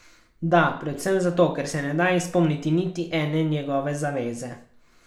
Da, predvsem zato, ker se ne da izpolniti niti ene njegove zaveze.